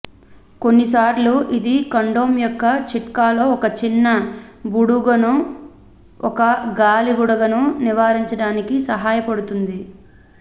కొన్నిసార్లు ఇది కండోమ్ యొక్క చిట్కాలో ఒక చిన్న బుడగను ఒక గాలి బుడగను నివారించడానికి సహాయపడుతుంది